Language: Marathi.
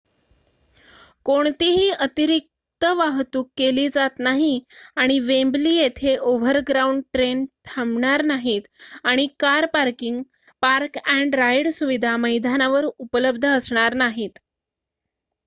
कोणतीही अतिरिक्त वाहतूक केली जात नाही आणि वेम्बली येथे ओव्हरग्राउंड ट्रेन थांबणार नाहीत आणि कार पार्किंग पार्क-अँड राइड सुविधा मैदानावर उपलब्ध असणार नाहीत